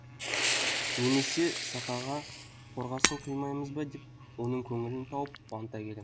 немесе сақаға қорғасын құймаймыз ба деп оның көңілін тауып қуанта келем